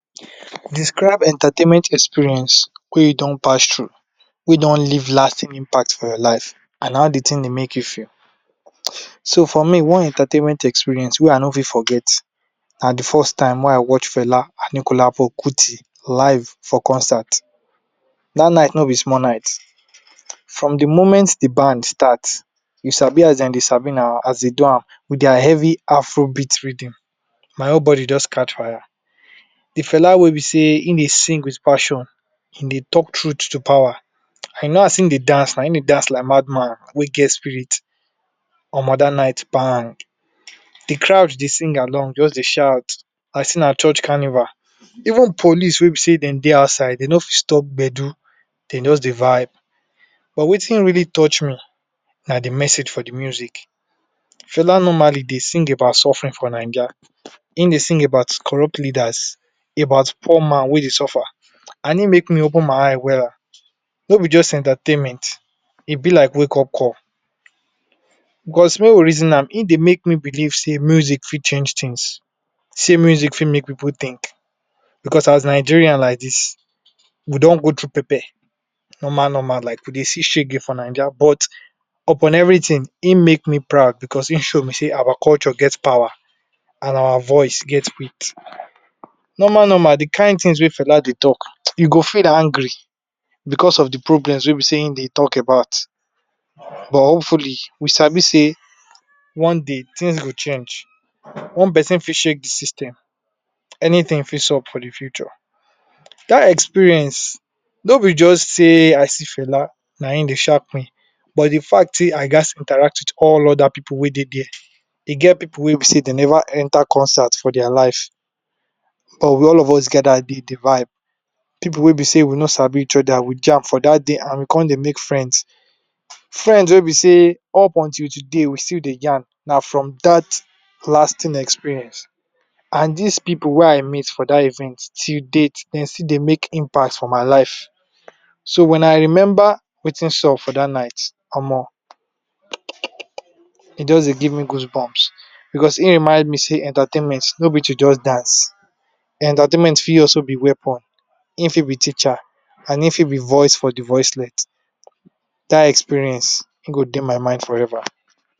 Describe entertainment experience wey u don pass thru, wey Dey don leave lasting impact for your life, and how d thing Dey make u feel, so for me one entertainment experience wey I no fit forget, na d first time wey I watch Fela anikulapo kuti live for concert, da night no b small night, from d moment d band start u sabi as dem Dey sabi na, as dem Dey do am with dis heavy afrobeat rhythm my whole body jus catch fire, d Fela wey b sey hin Dey sing wit passion, he Dey talk truth to power as hin Dey dance hin Dey dance like mad man wey get spirit Omo dat night bang, d crowd Dey sing along jus Dey shout, like set na church carnival, even police wey b sey dem dey outside, dem no fit stop gbedu, dem jus dey vibe, but Wetin really touch me na d message for d music, Fela normal dey sing about suffering for naija, hin dey sing about corrupt leaders about poor man wey dey suffer, and hin make me open my eye well, no b jus entertainment, e b like wake-up call cause make we reason am hin dey make me believe sey music fit change things sey music fit make pipu think, because as Nigerians like dis we don go try pepper, normal normal, like we dey see shege for naija, but upon everything hin make me proud because hin show me Dey our culture get power and our voice get weights, normal Normal d kind things wey fella dey talk, u go feel angry because of d problems wey b sey hin dey talk about, but hopefully we sabi Dey one day things go change, one person fit shake d system, anything fit sup for d future. Dat experience ni b jus sey I see fella na hin dey shark me but d fact sey I gats interact with all oda pipu wey dey there, e get pipu wey b wey dem Neva enter consert for dia life, but all of us gather dey dey vibe, pipu wey b sey dem no sabi each oda but we jam for dat day and we con dey make friends, friends wey b set up until today we still dey yarn na from dat lasting experience, and dis pipu wey I meeet for dat event till date, dem still dey make impact for my life, so wen I remember Wetin sup for dat night Omo um e just dey give me goosebumps because hin remind me sey entertainment no b to just dance, entertainment fit also b weapon, hin fit b teacher and hin fit b voice for d voiceless, dat experience e go dey my mind forever.